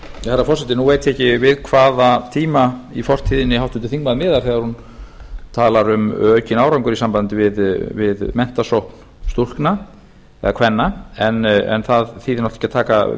herra forseti nú veit ég ekki við hvaða tíma í fortíðinni háttvirtur þingmaður miðar þegar hún talar um aukinn árangur í sambandi við menntasókn stúlkna eða kvenna en það þýðir náttúrlega ekki að taka